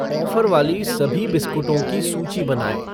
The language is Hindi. ऑफ़र वाली सभी बिस्कुटों की सूची बनाएँ